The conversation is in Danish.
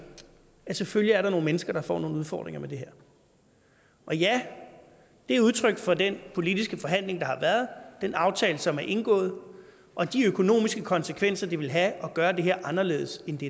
at der selvfølgelig er nogle mennesker der får nogle udfordringer med det her og ja det er udtryk for den politiske forhandling der har været den aftale som er indgået og de økonomiske konsekvenser det vil have at gøre det her anderledes end det